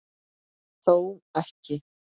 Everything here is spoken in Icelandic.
Þó ekki.